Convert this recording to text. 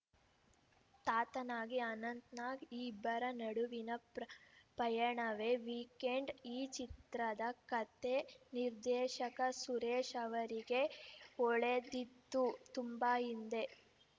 ತಾತನಾಗಿ ಅನಂತ್‌ನಾಗ್‌ ಈ ಇಬ್ಬರ ನಡುವಿನ ಪ್ರ ಪಯಣವೇ ವೀಕೆಂಡ್‌ ಈ ಚಿತ್ರದ ಕತೆ ನಿರ್ದೇಶಕ ಸುರೇಶ್‌ ಅವರಿಗೆ ಹೊಳೆದಿದ್ದು ತುಂಬಾ ಹಿಂದೆ